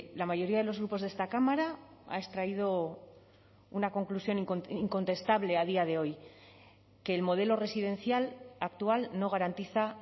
la mayoría de los grupos de esta cámara ha extraído una conclusión incontestable a día de hoy que el modelo residencial actual no garantiza